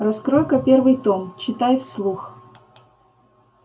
раскрой-ка первый том читай вслух